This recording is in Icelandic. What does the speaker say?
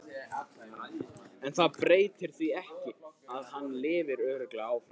En það breytir því ekki að hann lifir örugglega áfram.